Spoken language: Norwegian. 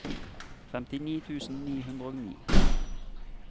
femtini tusen ni hundre og ni